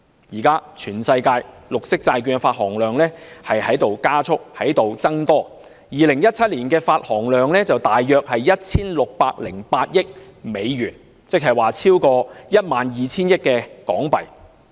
現時全球綠色債券的發行量正加速增長 ，2017 年發行量約為 1,608 億美元，即超過 12,000 億港元。